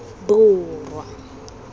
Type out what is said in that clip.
borwa